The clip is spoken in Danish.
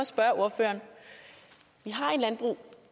spørge ordføreren vi har et landbrug